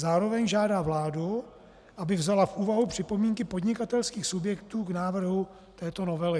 Zároveň žádá vládu, aby vzala v úvahu připomínky podnikatelských subjektů k návrhu této novely."